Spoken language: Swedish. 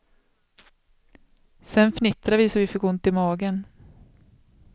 Sedan fnittrade vi så att vi fick ont i magen.